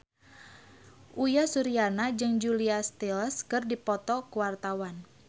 Uyan Suryana jeung Julia Stiles keur dipoto ku wartawan